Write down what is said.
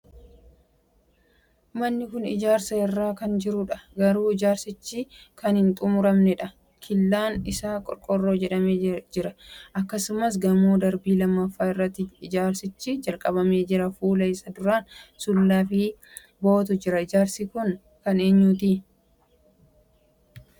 Manni kun ijaarsa irra kan jirudha. garuu ijaarsichi kan hin xumuramneedha. killaan isaa qorqorroon ijaarame jira. akkasumas gamoo darbii lammaffaa irratti ijaarsichi jalqabamee jira. fuula isaa duraan sulula ykn bowwaatu jira. Ijaarsi kun kan eenyuti? biyya kam keessatti ijaaramaa jira?